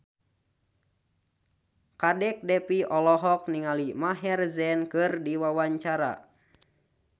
Kadek Devi olohok ningali Maher Zein keur diwawancara